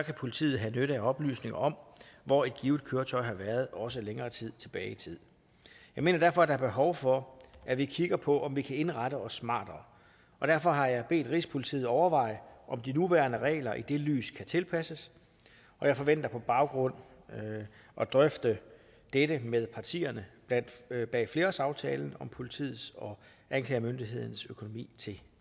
politiet have nytte af oplysninger om hvor et givet køretøj har været også længere tid tilbage jeg mener derfor der er behov for at vi kigger på om vi kan indrette os smartere derfor har jeg bedt rigspolitiet overveje om de nuværende regler i det lys kan tilpasses og jeg forventer på den baggrund at drøfte dette med partierne bag flerårsaftalen om politiets og anklagemyndighedens økonomi til